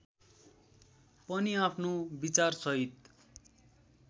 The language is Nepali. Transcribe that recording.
पनि आफ्नो विचारसहित